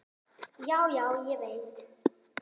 Já, já, ég veit.